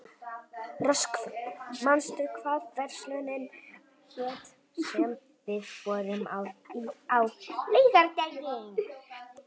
Röskvi, manstu hvað verslunin hét sem við fórum í á laugardaginn?